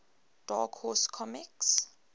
dark horse comics